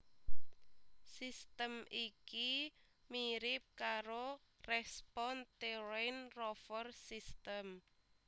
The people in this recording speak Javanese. Sistem iki mirip karo Respon Terrain Rover sistem